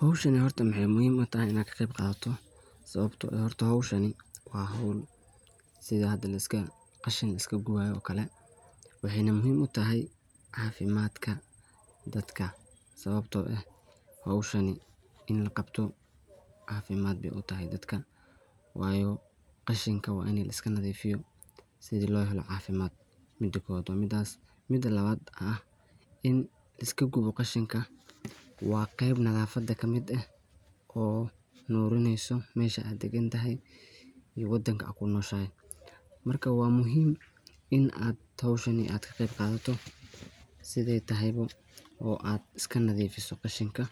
Hawshan horta waxay muhiim u tahay inaa ka qayb qaadato sababto eeh horta hawshani waa hawl sidhaa hadaa qashan laaiska qobayo waye oo kale waxay na muhiim u tahay cafimadka daadka sababto eeh hawsahani iin laqabto cafimaad baay u tahay dadka wayo qashanka waa in laiska nadhifiyo sidhii loo helo cafimaad mida koowaad waa midaas. Mida laawad aah in laiskagubo qashanka waa qeeb nadhafada kamid eeh oo nurineyso mesha dagantahy iyo wadanka aa kunoshahay marka waa muhiim in aad hawshani aad kaqeeb qadhato sidhay tahay oo aad iska nadhifiso qashinka